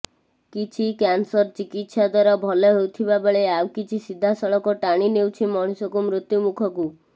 କିଛି କ୍ୟାନସର ଚିକିତ୍ସା ଦ୍ୱାରା ଭଲ ହେଉଥିବାବେଳେ ଆଉ କିଛି ସିଧା ସଳଖ ଟାଣି ନେଉଛି ମଣିଷକୁ ମୃତ୍ୟୁମୁଖକୁ